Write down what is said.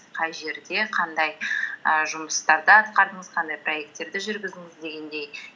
қай жерде қандай і жұмыстарды атқардыңыз қандай проекттерді жүргіздіңіз дегендей